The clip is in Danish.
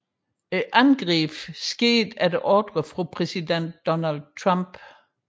Angrebet skete efter ordre fra præsident Donald Trump